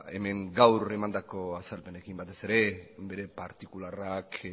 hemen gaur emandako azalpenekin batez ere bere partikularrak